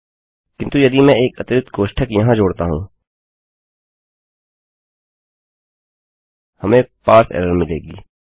किन्तु यदि मैं एक अतिरिक्त कोष्ठक यहाँ जोड़ता हूँ हमें पारसे एरर मिलेगी